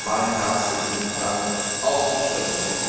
meinen herzlichen Dank auszusprechen.